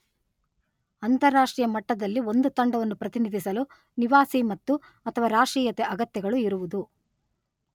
ಅಂತಾರಾಷ್ಟ್ರೀಯ ಮಟ್ಟದಲ್ಲಿ ಒಂದು ತಂಡವನ್ನು ಪ್ರತಿನಿಧಿಸಲು ನಿವಾಸಿ ಮತ್ತು, ಅಥವಾ ರಾಷ್ಟ್ರೀಯತೆ ಅಗತ್ಯಗಳು ಇರುವುದು